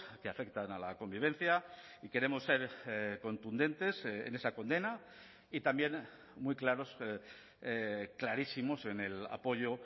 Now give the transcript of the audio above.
que afectan a la convivencia y queremos ser contundentes en esa condena y también muy claros clarísimos en el apoyo